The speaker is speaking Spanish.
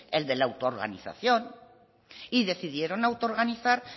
el de la autoorganización y decidieron autoorganizar